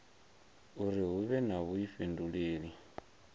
uri hu vhe na vhuifhinduleli